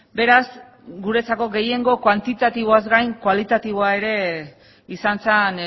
beraz guretzako gehiengo kuantitatiboaz gain kualitatiboa ere izan zen